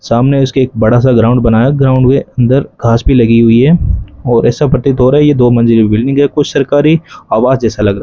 सामने उसके एक बड़ा सा ग्राउंड बना ग्राउंड के अंदर घास भी लगी हुई है और ऐसा प्रतीत हो रही है दो मंजिल बिल्डिंग है कुछ सरकारी आवाज जैसा लग रहा --